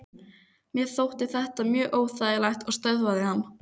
Mér þótti þetta mjög óþægilegt og stöðvaði hann.